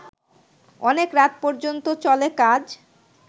অনেক রাত পর্যন্ত চলে কাজ